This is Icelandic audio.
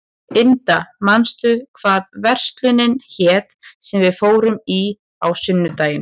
Inda, manstu hvað verslunin hét sem við fórum í á sunnudaginn?